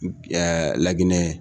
laginɛ